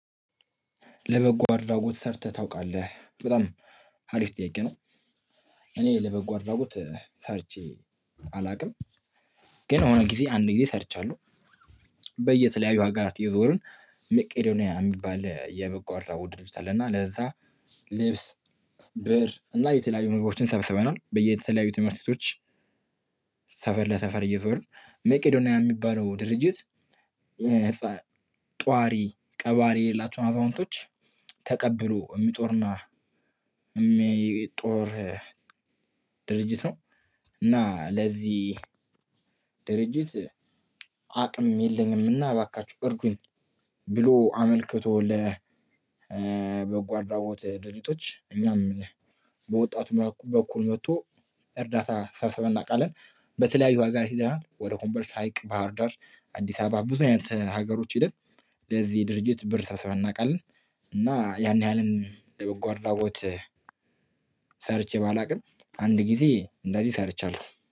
ለበጎ አድራጎት ሰርተህ ታውቃለህ በጣም አሪፍ ጥያቄ ነው? እኔ ለበጎ አድራጎት ሰርቼ አላውቅም። ግን የሆነ ጊዜ አንድ ጊዜ ሰርቻለሁ። በየተለያዩ ሀገራት እየዞርን መቄዶንያ የሚባል የበጎ አድራጎት ድርጅት አለ እና ለዛ ልብስ ብር እና የተለያዩ ምግቦችን ሰብስበናል። በየተለያዩ ትምህርት ቤቶች። ሰፈር ለሰፈር እየዞርን መቄዶንያ የሚባለው ድርጅት ጧሪ ቀባሪ የሌላቸውን አዛውንቶች ተቀብሎ የሚጦርና የሚጦር ድርጅት ነው። እና ለዚህ ድርጅት አቅም የለኝም እና እባካችሁ እርዱኝ። ብሎ አመልክቶ ለበጎ አድራጎት ድርጅቶች እኛም በወጣቱ በኩል መጥቶ እርዳታ ሰብስበን እናውቃለን። በተለያዩ በተለያዩ ሀገራት ሄደናል ኮምቦልቻ ሀይቅ ባህርዳር። አዲስ አበባ ብዙ አይነት ሀገሮች ሄደን ለዚህ ድርጅት ብር ሰብስበን እናውቃለን። እና ያን ያህልም የበጎ አድራጎት ሰርቼ ባላውቅም አንድ ጊዜ እንደዚህ ሰርቻለሁ።